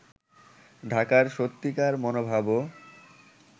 ঢাকার সত্যিকার মনোভাবও